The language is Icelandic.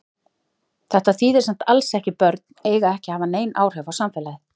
Þetta þýðir samt alls ekki börn eiga ekki að hafa nein áhrif á samfélagið.